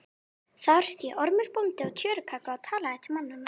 Þar sté Ormur bóndi á tjörukagga og talaði til mannanna.